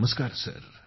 नमस्कार सर